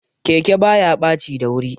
Keke baya ɓaci dayuri.